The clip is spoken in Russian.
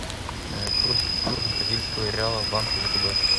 курс бразильского реала в банке втб